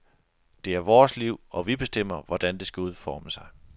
Det er vores liv og vi bestemmer hvordan det skal udforme sig.